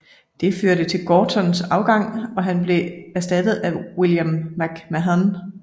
Det førte til Gortons afgang og han blev erstattet af William McMahon